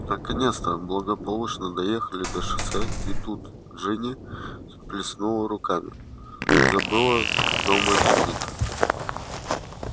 наконец то благополучно доехали до шоссе и тут джинни всплеснула руками забыла дома дневник